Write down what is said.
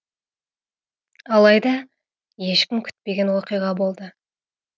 алайда ешкім күтпеген оқиға болды